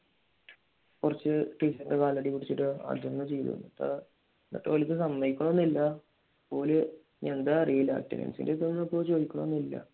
കുറച്ച് ടീച്ചർമാരുടെ കാലൊക്കെ പിടിച്ചിട്ട് അതങ്ങുചെയ്തു എന്നിട്ടും ഓർ സമ്മതിക്കുന്നൊന്നും ഇല്ല ഓല് എന്താ അറിയില്ല ചോയിക്കണോന്നില്ല